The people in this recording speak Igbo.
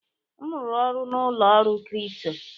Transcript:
M rụrụ ọrụ na ụlọ ọrụ kripto.